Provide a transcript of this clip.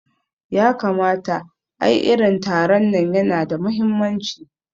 Yakamata, ai irin taron nan yana da mahimmanci